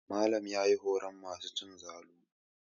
Malam ya yi horon masu cin zalu.